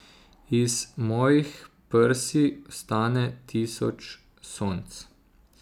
Iz mojih prsi vstane tisoč sonc.